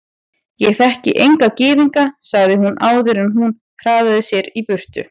Ég þekki enga gyðinga sagði hún áður en hún hraðaði sér í burtu.